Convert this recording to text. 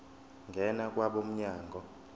ngena kwabo mnyango